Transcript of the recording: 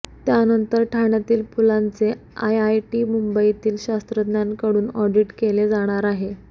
त्यानंतर ठाण्यातील पुलांचे आयआयटी मुंबईतील शास्त्रज्ञांकडून ऑडिट केले जाणार आहे